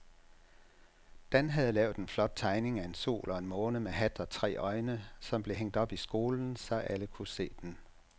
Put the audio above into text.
Dan havde lavet en flot tegning af en sol og en måne med hat og tre øjne, som blev hængt op i skolen, så alle kunne se den.